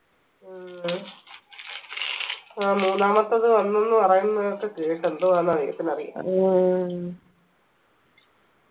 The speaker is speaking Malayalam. ഉം ആ മൂന്നാമത്തത് വന്നൂന്ന് പറയുന്നതൊക്കെ കേട്ട് എന്തോ ആന്ന ദൈവത്തിന് അറിയ